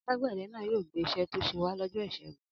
Alágbẹ̀dẹ náà yóò gbé iṣẹ́ tó ṣe wá lọ́jọ́ ìṣẹ́gun.